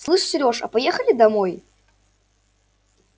слышь серёж а поехали домой